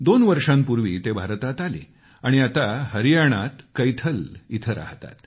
दोन वर्षांपूर्वी ते भारतात आले आणि आता हरियाणातल्या कैथल इथं राहतात